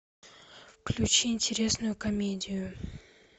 включи интересную комедию